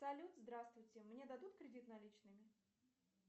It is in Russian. салют здравствуйте мне дадут кредит наличными